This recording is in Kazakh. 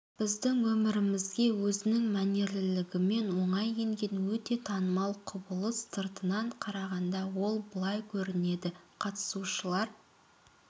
біздің өмірімізге өзінің мәнерлілігімен оңай енген өте танымал құбылыс сыртынан қарағанда ол былай көрінеді қатысушылар